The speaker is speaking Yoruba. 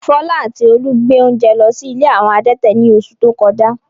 Fọlá àti Olú gbé oúnjẹ lọ sí ilé àwọn adẹ́tẹ̀ ní oṣù tó kọjá.